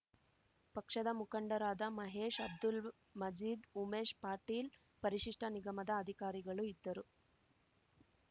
ಪಕ್ಷದ ಮುಖಂಡರಾದ ಮಹೇಶ್ ಅಬ್ದುಲ್‌ ಮಜೀದ್‌ಉಮೇಶ್ ಪಾಟೀಲ್ ಪರಿಶಿಷ್ಟನಿಗಮದ ಅಧಿಕಾರಿಗಳು ಇದ್ದರು